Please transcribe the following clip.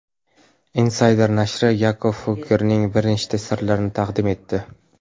Insider nashri Yakob Fuggerning bir nechta sirlarini taqdim etdi .